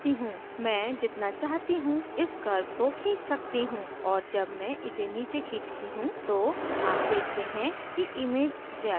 मैं जितना चाहती हूँ इस curve को खींच सकती हूँ और जब मैं इसे नीचे खींचती तो आप देखते हैं कि image ज़्यादा darker हो जाती है